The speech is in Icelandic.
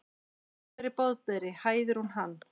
Boðberi, Boðberi, hæðir hún hann.